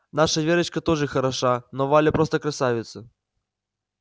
наша верочка тоже хороша но валя просто красавица